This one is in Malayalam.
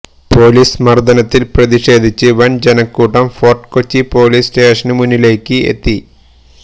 പൊലീസ് മർദനത്തിൽ പ്രതിഷേധിച്ച് വൻ ജനക്കൂട്ടം ഫോർട്ട്കൊച്ചി പൊലീസ് സ്റ്റേഷനു മുന്നിലേക്ക് എത്തി